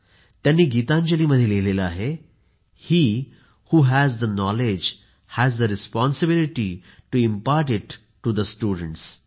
त्यांनी गीतांजली मध्ये लिहिले आहे हे who has the knowledge has the responsibility to impart it to the students